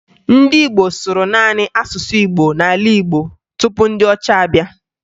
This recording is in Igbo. Ndị Igbo sụrụ naanị asụsụ Igbo n'ala Igbo tupu ndị ọcha abịa